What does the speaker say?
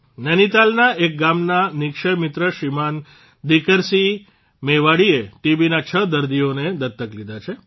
નૈનીતાલના એક ગામના નિઃક્ષય મિત્ર શ્રીમાન દીકરસિંહ મેવાડીએ ટીબીના છ દર્દીઓને દત્તક લીધા છે